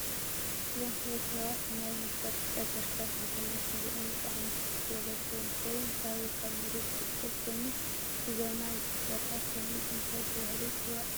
እዞ ዝተ ፈላላዩ ሰ ባት ማይ ንምውሳ ብጫ ጀረካን ሕዞም እንትርኦም ብጣዓሚብርክት ዝ በለ ሰብ እንትከውን ካበይ ካብ መረት ዝፍልፍል ኮይኑ ብዘመናዊ ዝተሰርሕ ኰይኑ እንታይ ተባሂሉ ይፅዋዕ?